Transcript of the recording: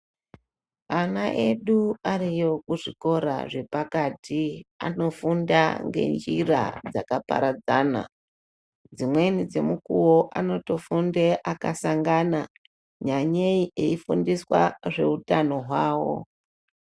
Ana edu ariyo kuzvikora zvepakati anofunde ngenjira dzakaparadzana. Dzimweni dzemukuwo anotofunda akasangana, nyanyeyi eifundiswa zveutano hwavo.